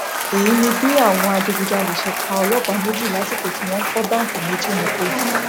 èyí ni bí àwọn adigunjalè ṣe pa ọlọpàá méjì lásìkò tí wọn fọ báǹkì méjì ní kogi